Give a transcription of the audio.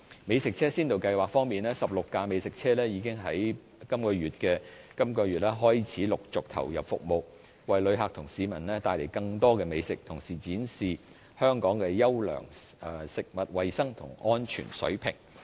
美食車先導計劃方面 ，16 輛美食車已經在本月開始陸續投入服務，為旅客和市民帶來更多美食，同時展現香港優良的食物衞生及安全水平。